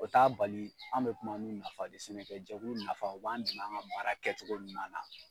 O t'a bali an bɛ kuma ni nafa de, sɛnɛkɛjɛkulu nafa, o b'an dɛmɛ an ŋa baara kɛcogo ɲuman na.